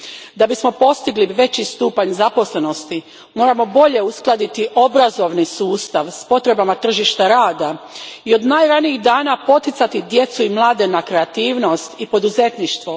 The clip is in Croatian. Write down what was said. Da bismo postigli veći stupanj zaposlenosti moramo bolje uskladiti obrazovni sustav s potrebama tržišta rada i od najranijih dana poticati djecu i mlade na kreativnost i poduzetništvo.